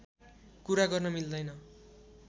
कुरा गर्न मिल्दैन